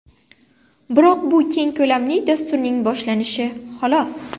Biroq bu keng ko‘lamli dasturning boshlanishi, xolos.